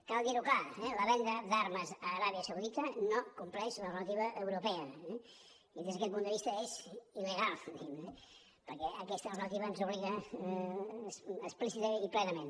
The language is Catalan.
cal dir ho clar la venda d’armes a aràbia saudita no compleix la normativa europea eh des d’aquest punt de vista és il·legal diguem ne perquè aquesta normativa ens obliga explícitament i plenament